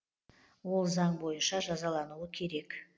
ол заң бойынша жазалануы керек